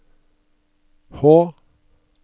H